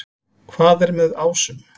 Hvað er með ásum?